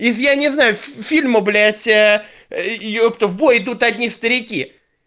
если я не знаю фильму блять ёпта в бой идут одни старики